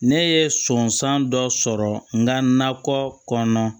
Ne ye sɔnsan dɔ sɔrɔ n ka nakɔ kɔnɔna